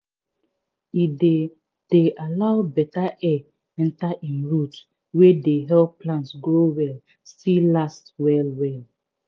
e dey dey allow beta air enter im roots wey dey help plants grow well still last well well